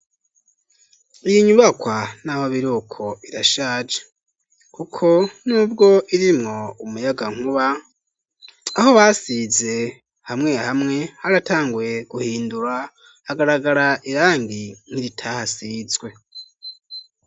Iyi nyubakwa naho biruko irashaje kuko n'ubwo irimwo umuyagankuba aho basize hamwe hamwe haratanguye guhindura hagaragara irangi nkiri tahasizwe.